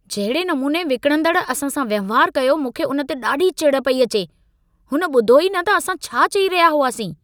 जहिड़े नमूने विकिणंदड़ असां सां वहिंवार कयो मूंखे उन ते ॾाढी चिढ़ पई अचे। हुन ॿुधो ई न त असां छा चई रहिया हुआसीं।